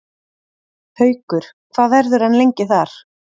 Haukur: Hvað verður hann lengi þar?